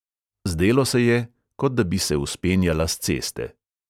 Zdelo se je, kot da bi se vzpenjala s ceste.